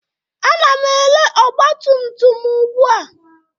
Ana m ere ọgbatumtum m ugbu a